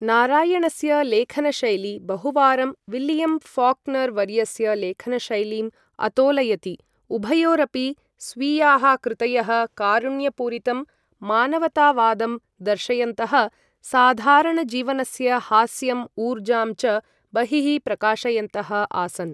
नारायणस्य लेखनशैली बहुवारं विलियम् फॉक्नर् वर्यस्य लेखनशैलीं अतोलयति। उभयोरपि, स्वीयाः कृतयः, कारुण्यपूरितं मानवतावादं दर्शयन्तः साधारणजीवनस्य हास्यम् ऊर्जां च बहिः प्रकाशयन्तः आसन्।